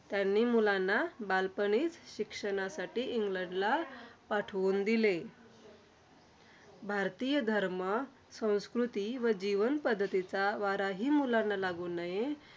त्यांनी मुलांना बालपणीच शिक्षणासाठी इंग्लडला पाठवून दिले. भारतीय धर्म, संस्कृती व जीवनपद्धतीचा वाराहि अंगाला लागू नये.